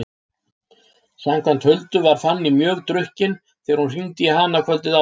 Samkvæmt Huldu var Fanný mjög drukkin þegar hún hringdi í hana kvöldið áður.